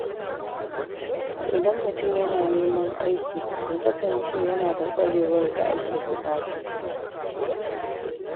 Idan mutum yana neman aiki, ya kasance yanada ƙwarewar da ake buƙata.